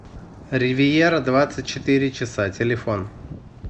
ривьера двадцать четыре часа телефон